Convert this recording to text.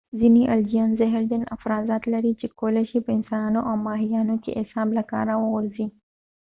ځینې الجیان زهرجن افرازات لري چې کولی شي په انسانانو او ماهیانو کې اعصاب له کاره وغورځي